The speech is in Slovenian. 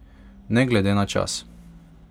Ne glede na čas.